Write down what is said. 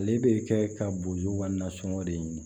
Ale bɛ kɛ ka bo yuguba nasɔngɔ de ɲini